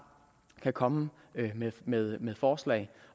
kan komme med med forslag